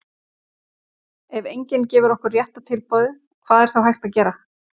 ef enginn gefur okkur rétta tilboðið hvað er þá hægt að gera?